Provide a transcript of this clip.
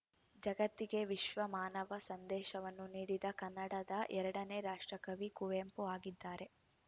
ಜಗತ್ತಿಗೆ ವಿಶ್ವ ಮಾನವ ಸಂದೇಶವನ್ನು ನೀಡಿದ ಕನ್ನಡದ ಎರಡನೇ ರಾಷ್ಟ್ರ ಕವಿ ಕುವೆಂಪು ಆಗಿದ್ದಾರೆ